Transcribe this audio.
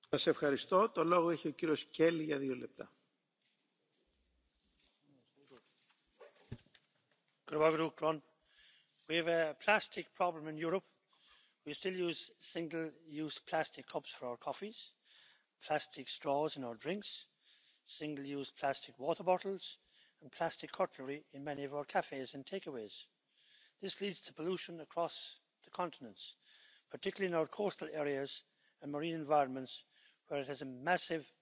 Herr Präsident, liebe Kolleginnen und Kollegen. Seit sechzig Jahren hat Plastik unser Leben in vielen Bereichen erleichtert, und es ist aus dem Leben, aus dem Alltag, nicht mehr wegzudenken. Aber es hat eben sehr problematische Folgen. Es findet sich überall da, wo wir es auch nicht haben wollen in den Flüssen, im Boden und eben auch im Meer. Und das ist ein großes Problem, das wir im Moment haben. Drei Viertel des Meeresmülls weltweit sind Plastik und pro Jahr werden auf dem globalen Markt 300 Millionen Tonnen Produkte hergestellt, die Plastik enthalten. Wir können nur dreißig Prozent hier in der EU recyceln, und